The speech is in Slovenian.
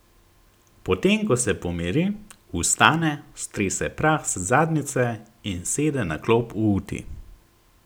Potem ko se pomiri, vstane, strese prah z zadnjice in sede na klop v uti.